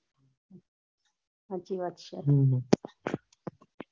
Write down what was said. સાચી વાત છે